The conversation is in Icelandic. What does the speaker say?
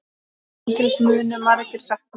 Mikils munu margir sakna.